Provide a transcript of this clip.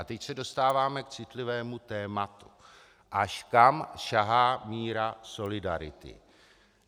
A teď se dostáváme k citlivému tématu, až kam sahá míra solidarity.